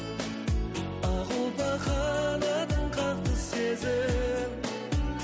ақ ұлпа қанатын қақты сезім